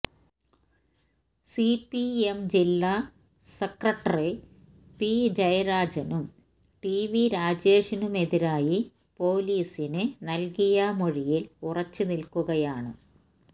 C P M ജില്ലാ secretary P ജയരാജനും T V രാജേഷനുമെതിരായി പോലീസിന് നല്കിയ മൊഴിയില് ഉറച്ചുനില്ക്കുകയാണ്